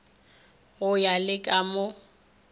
go ya le ka mo